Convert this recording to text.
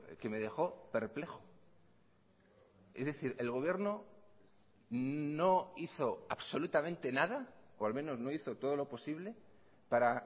que me dejó perplejo es decir el gobierno no hizo absolutamente nada o al menos no hizo todo lo posible para